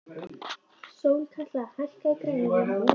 Sólkatla, hækkaðu í græjunum.